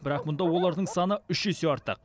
бірақ мұнда олардың саны үш есе артық